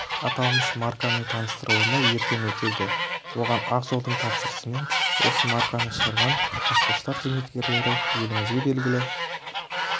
аталмыш марканың таныстырылымы ертең өтеді оған ақ жолдың тапсырысымен осы марканы шығарған қазпошта қызметкерлері елімізге белгілі